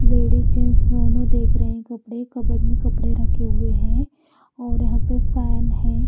Lady jeans देख रही है कपडे कबड़ में कपडे रखे हुए है और पर यहाँफेन है।